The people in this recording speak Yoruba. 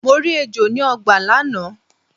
Mo rí ejò ni ọgbà lánàá.